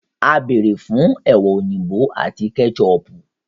À bẹ́ẹrẹ́ fún ẹwa oyinbọ àti kẹ́chọpù.